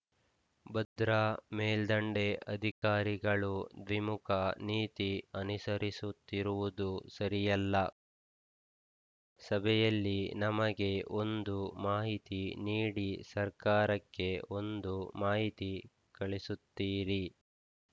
ಭದ್ರಾ ಮೇಲ್ದಂಡೆ ಅಧಿಕಾರಿಗಳು ದ್ವಿಮುಖ ನೀತಿ ಅನುಸರಿಸುತ್ತಿರುವುದು ಸರಿಯಲ್ಲ ಸಭೆಯಲ್ಲಿ ನಮಗೆ ಒಂದು ಮಾಹಿತಿ ನೀಡಿ ಸರ್ಕಾರಕ್ಕೆ ಒಂದು ಮಾಹಿತಿ ಕಳಿಸುತ್ತಿರಿ